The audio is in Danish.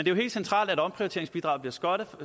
jo helt centralt at omprioriteringsbidraget bliver skrottet